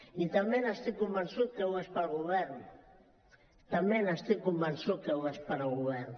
i també estic convençut que ho és per al govern també estic convençut que ho és per al govern